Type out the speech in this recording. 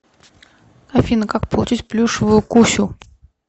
афина как получить плюшевую кусю